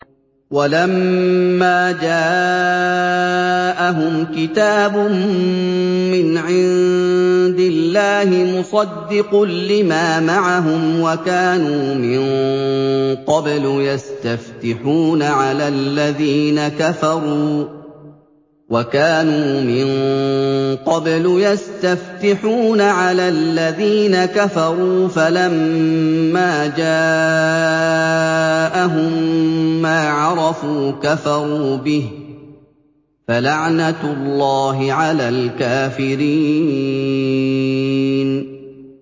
وَلَمَّا جَاءَهُمْ كِتَابٌ مِّنْ عِندِ اللَّهِ مُصَدِّقٌ لِّمَا مَعَهُمْ وَكَانُوا مِن قَبْلُ يَسْتَفْتِحُونَ عَلَى الَّذِينَ كَفَرُوا فَلَمَّا جَاءَهُم مَّا عَرَفُوا كَفَرُوا بِهِ ۚ فَلَعْنَةُ اللَّهِ عَلَى الْكَافِرِينَ